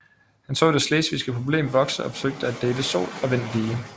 Han så det slesvigske problem vokse og forsøgte at dele sol og vind lige